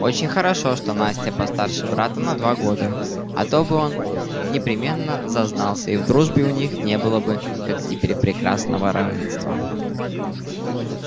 очень хорошо что настя постарше брата на два года а то бы он непременно зазнался и в дружбе у них не было бы как теперь прекрасного равенства